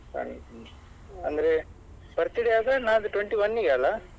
ಅಂದ್ರೆ birthday ಯಾವಾಗ ನಾಡಿದ್ದು twenty-one ಗೆ ಅಲ್ಲಾ.